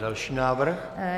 Další návrh.